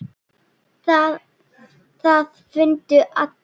Það fundu allir.